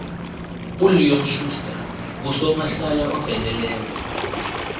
uleon schuster ngusomahlaya oveleleko